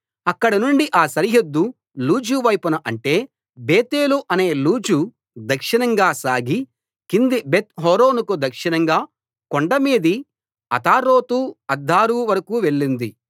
అక్కడనుండి ఆ సరిహద్దు లూజు వైపున అంటే బేతేలు అనే లూజు దక్షిణంగా సాగి కింది బెత్‌ హోరోనుకు దక్షిణంగా కొండమీది అతారోతు అద్దారు వరకూ వెళ్ళింది